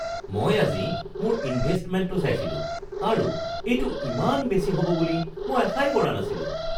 মই আজি মোৰ ইনভেষ্টমেণ্টটো চাইছিলোঁ আৰু এইটো ইমান বেছি হ'ব বুলি মই আশাই কৰা নাছিলোঁ